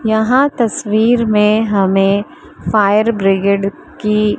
यहां तस्वीर में हमें फायर ब्रिगेड की--